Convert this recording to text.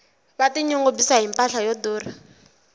va ti nyungubyisa hi mpahla yo durha